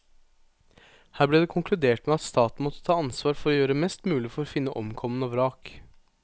Her ble det konkludert med at staten måtte ta ansvar for å gjøre mest mulig for å finne omkomne og vrak.